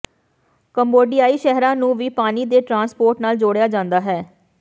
ਕੰਬੋਡਿਆਈ ਸ਼ਹਿਰਾਂ ਨੂੰ ਵੀ ਪਾਣੀ ਦੇ ਟ੍ਰਾਂਸਪੋਰਟ ਨਾਲ ਜੋੜਿਆ ਜਾਂਦਾ ਹੈ